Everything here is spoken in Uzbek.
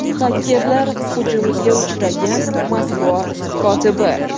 Xakerlar hujumiga uchragan matbuot kotibi.